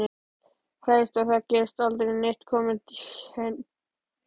Hræðist að það geti aldrei neitt komið henni til hjálpar.